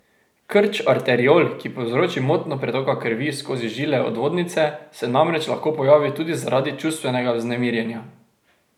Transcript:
Krč arteriol, ki povzroči motnjo pretoka krvi skozi žile odvodnice, se namreč lahko pojavi tudi zaradi čustvenega vznemirjenja.